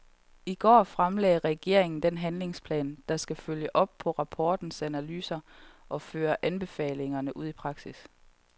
I går fremlagde regeringen den handlingsplan, der skal følge op på rapportens analyser og føre anbefalingerne ud i praksis.